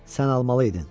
Sən almalıydın.